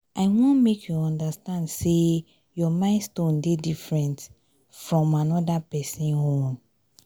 i wan make you understand sey your milestone dey different fromm anoda pesin own.